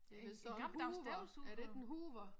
Der står en Hoover er det ikke en Hoover?